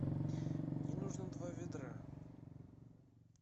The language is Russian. мне нужно два ведра